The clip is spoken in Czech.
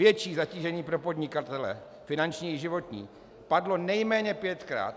Větší zatížení pro podnikatele, finanční i životní - padlo nejméně pětkrát.